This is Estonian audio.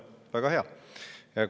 Väga hea!